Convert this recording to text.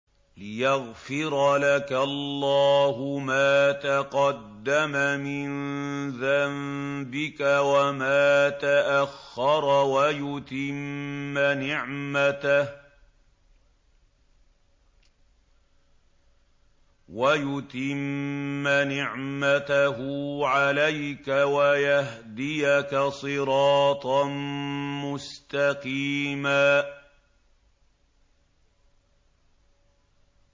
لِّيَغْفِرَ لَكَ اللَّهُ مَا تَقَدَّمَ مِن ذَنبِكَ وَمَا تَأَخَّرَ وَيُتِمَّ نِعْمَتَهُ عَلَيْكَ وَيَهْدِيَكَ صِرَاطًا مُّسْتَقِيمًا